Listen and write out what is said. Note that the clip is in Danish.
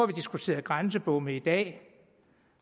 diskuteret grænsebomme i dag